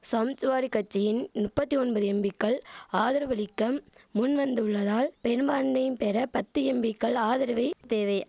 சம்ச்வாடி கட்சியின் நுப்பத்தி ஒன்பது எம்பிக்கள் ஆதரவளிக்கம் முன்வந்துள்ளதால் பெரும்பான்மையும் பெற பத்து எம்பிக்கள் ஆதரவை தேவை